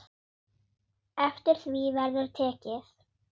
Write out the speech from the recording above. Eftir því verður tekið.